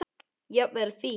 Jafnvel fíkn.